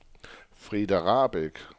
Frida Rahbek